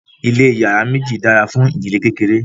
ilé iyàrá méjì dára fún ìdílé kékeré